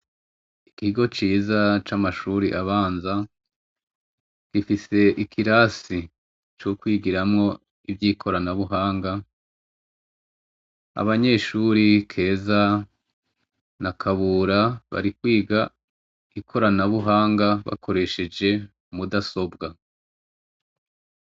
Igiigo ciza c'amashuri abanza gifise ikirasi c'ukwigiramwo ivyo ikoranabuhanga abanyeshuri keza na akabura barikwiga ikoranabuhanga bakoresheje umudasobwa.